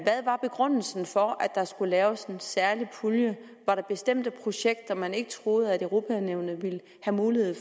hvad er begrundelsen for at der skulle laves en særlig pulje var der bestemte projekter som man ikke troede at europa nævnet ville have mulighed